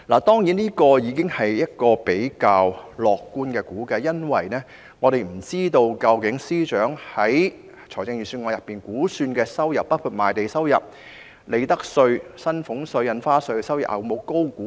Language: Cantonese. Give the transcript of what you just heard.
當然，這已是較樂觀的估計，因為我們不知道司長的預算案有否高估估算收入，包括賣地、利得稅、薪俸稅及印花稅的收入。